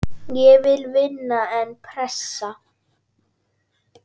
Ég vil vinna, en pressa?